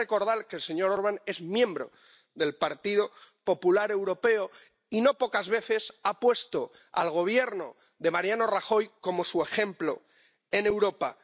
Hay que recordar que el señor Orbán es miembro del Partido Popular Europeo y no pocas veces ha puesto al Gobierno de Mariano Rajoy como ejemplo en Europa.